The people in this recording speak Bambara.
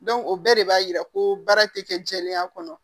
o bɛɛ de b'a yira ko baara ti kɛ jɛlenya kɔnɔ